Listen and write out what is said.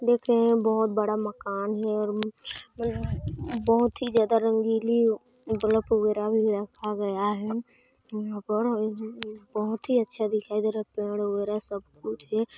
देख रहे हैं बहोत बड़ा माकन है और बहुत ही ज्यादा रंगीली बलफ वगैरह भी रखा गया है यहाँ पर बहुत ही अच्छा दिखाई देरा पेड़ वगैरह सब कुछ है।